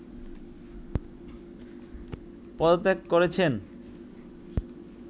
পদত্যাগ করেছেন